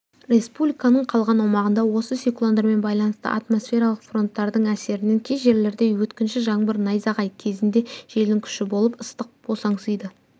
республиканың қалған аумағында осы циклондармен байланысты атмосфералық фронттардың әсерінен кей жерлерде өткінші жаңбыр найзағай кезінде желдің күші болып ыстық босаңсыйды